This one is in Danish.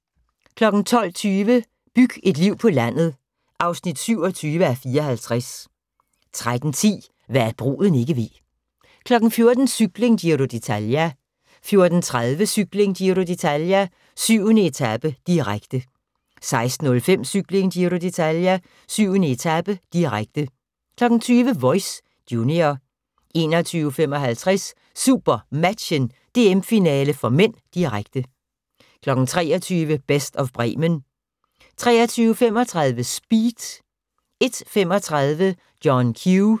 12:20: Byg et liv på landet (27:54) 13:10: Hva' bruden ikke ved 14:00: Cykling: Giro d'Italia 14:30: Cykling: Giro d'Italia - 7. etape, direkte 16:05: Cykling: Giro d'Italia - 7. etape, direkte 20:00: Voice – junior 21:55: SuperMatchen: DM-finale (m), direkte 23:00: Best of Bremen 23:35: Speed 01:35: John Q